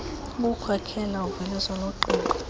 ukukhokhela uveliso loqingqo